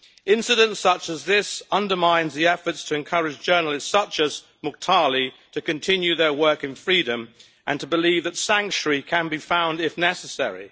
Incidents such as this undermine the efforts to encourage journalists such as Mukhtarli to continue their work in freedom, and to believe that sanctuary can be found if necessary.